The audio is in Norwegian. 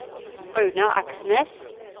Runar Aksnes